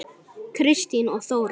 Kristín og Þóra.